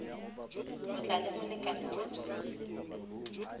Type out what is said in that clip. go tla le molekane wa